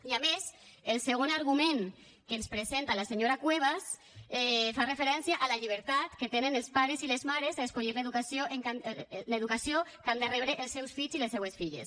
i a més el segon argument que ens presenta la senyora cuevas fa referència a la llibertat que tenen els pares i les mares a escollir l’educació que han de rebre els seus fills i les seues filles